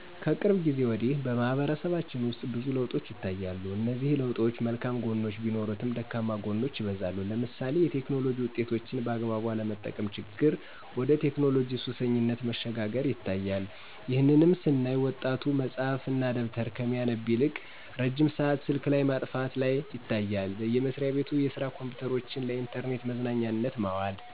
ከቅርብ ጊዜ ወዲህ በማህበረሰባችን ውስጥ ብዙ ለውጦች ይታያሉ እነዚህ ለውጦች መልካም ግኖች ቢኖሩትም ደካማ ጎኖች ይበዛሉ ለምሳሌ የቴክኖሎጂ ውጤቶችን በአግባቡ አለመጠቀም ችግር ወደ ቴክኖሎጂ ሱሰኝነት መሸጋገር ይታያል። ይህንንም ስናይ ወጣቱ መፅሀፍ እና ደብተር ከሚያነብ ይልቅ ረጅም ሰአት ስልክ ላይ ማጥፋት ላይ ይታያል። በየመስራቤቱ የስራ ኮምፒዉተሮችን ለኢንተርኔት መዝናኛነት ማዋል።